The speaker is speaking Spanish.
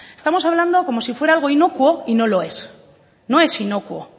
estamos hablamos como si fuera algo inocuo y no lo es no es inocuo